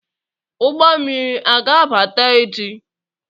ụgbọ mmiri a ga-abata echi?